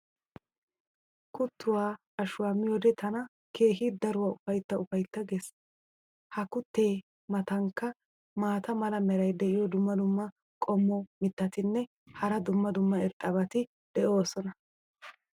kuttuwa ashuwaa miyoode tana keehi daruwa ufaytta ufaytta ges. ha kuttee matankka maata mala meray diyo dumma dumma qommo mitattinne hara dumma dumma irxxabati de'oosona.